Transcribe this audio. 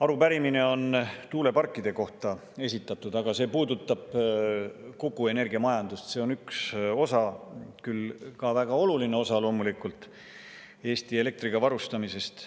Arupärimine on esitatud tuuleparkide kohta, aga see puudutab kogu energiamajandust, see on üks osa, küll ka väga oluline osa loomulikult, Eesti elektriga varustamisest.